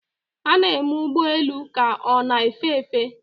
a na-eme ụgbọ elu ka ọ na-efe efe